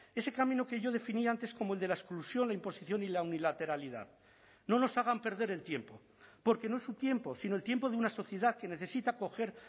ese camino que yo definía antes como el de la exclusión la imposición y la unilateralidad no nos hagan perder el tiempo porque no es su tiempo sino el tiempo de una sociedad que necesita coger